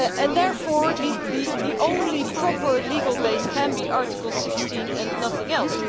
Therefore, the only proper legal base can be Article 16 and nothing else.